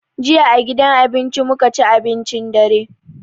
Jiya a gidan abinci mu ka ci abincin dare.